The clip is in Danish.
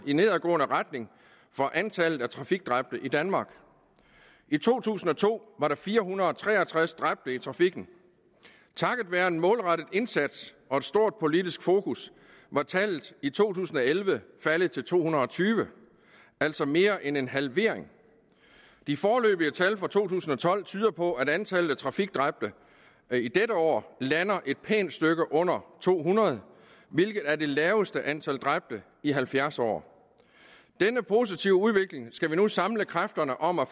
i nedadgående retning for antallet af trafikdræbte i danmark i to tusind og to var der fire hundrede og tre og tres dræbte i trafikken takket være en målrettet indsats og et stort politisk fokus var tallet i to tusind og elleve faldet til to hundrede og tyve altså mere end en halvering de foreløbige tal for to tusind og tolv tyder på at antallet af trafikdræbte i dette år lander et pænt stykke under to hundrede hvilket er det laveste antal dræbte i halvfjerds år denne positive udvikling skal vi nu samle kræfterne om at